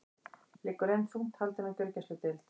Liggur enn þungt haldin á gjörgæsludeild